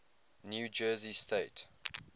new jersey state